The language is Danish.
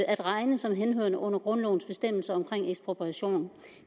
at regne som henhørende under grundlovens bestemmelser om ekspropriation